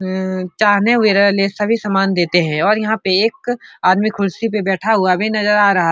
हम्म चाहने सभी समान देते हैं और यहां पे एक आदमी खुर्शी पे बैठा हुआ भी नजर आ रहा --